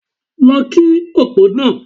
Lọ kí opó náà!